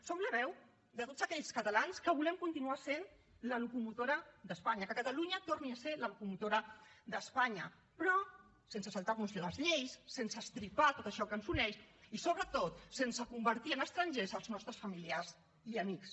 som la veu de tots aquells catalans que volem continuar sent la locomotora d’espanya que catalunya torni a ser la locomotora d’espanya però sense saltar nos les lleis sense estripar tot això que ens uneix i sobretot sense convertir en estrangers els nostres familiars i amics